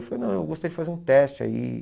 Eu falei, não, eu gostaria de fazer um teste aí.